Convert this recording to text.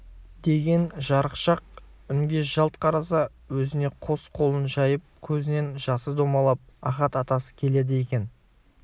деген жарықшақ үнге жалт қараса өзіне қос қолын жайып көзінен жасы домалап ахат атасы келеді екен